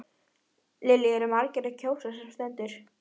Lillý eru margir að kjósa sem stendur?